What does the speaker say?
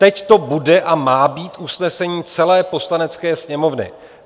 Teď to bude a má být usnesení celé Poslanecké sněmovny.